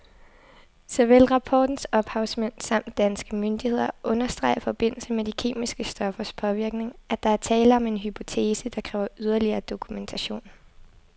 Såvel rapportens ophavsmænd samt danske myndigheder understreger i forbindelse med de kemiske stoffers påvirkning, at der er tale om en hypotese, der kræver yderligere dokumentation.